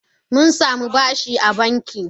Mun samu bashi a banki.